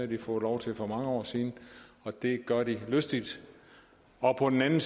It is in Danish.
de fået lov til for mange år siden og det gør de lystigt og på den anden